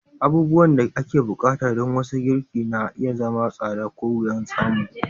Abubuwan da ake buƙata don wasu girki na iya zama tsada ko wuyan samu.